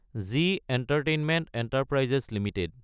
ji entertainment enterprises Ltd